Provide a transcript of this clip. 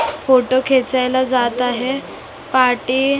photo खेचायला जात आहे पाटी अ --